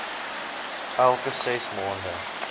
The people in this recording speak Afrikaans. elke ses maande